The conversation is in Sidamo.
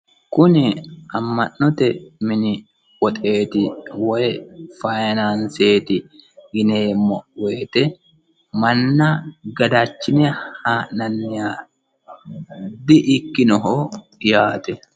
Kuni ama'note mini woxeeti woyi fayiinanseti yineemmo woyiite manna gadachine haa'nanniha dikkinoho yaate.